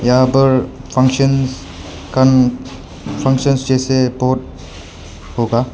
यहां पर फंक्शंस कन फंक्शंस जैसे बहुत होगा।